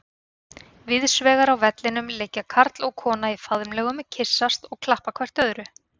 Víðsvegar á vellinum liggja karl og kona í faðmlögum, kyssast og klappa hvert öðru.